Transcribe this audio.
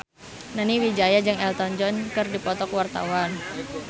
Nani Wijaya jeung Elton John keur dipoto ku wartawan